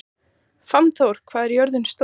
Fannþór, hvað er jörðin stór?